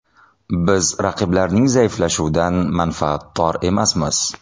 Biz raqiblarning zaiflashuvidan manfaatdor emasmiz.